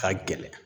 Ka gɛlɛn